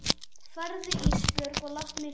Farðu Ísbjörg og láttu mig í friði.